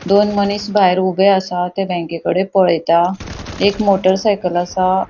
दोन मनिस भायर ऊबे असा ते बँकेकडे पळेता एक मोटर साइकल असा.